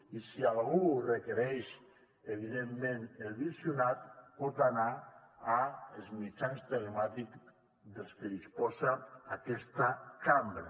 i si algú en requereix evidentment el visionat pot anar als mitjans telemàtics dels que disposa aquesta cambra